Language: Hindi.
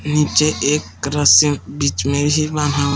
नीचे एक रस्सी बीच में ही वहां--